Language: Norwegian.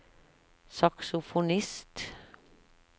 saksofonist